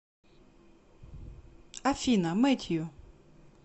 афина мэтью